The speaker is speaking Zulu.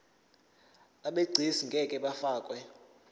abegcis ngeke bafakwa